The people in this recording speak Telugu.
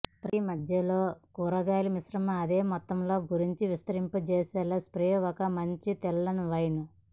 ప్రతి మధ్యలో కూరగాయల మిశ్రమం అదే మొత్తంలో గురించి విస్తరింపచేసేలా స్ప్రే ఒక మంచి తెల్ల వైన్